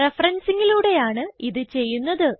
Referencingലൂടെയാണ് ഇത് ചെയ്യുന്നത്